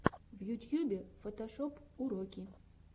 на ютьюбе фотошоп уроки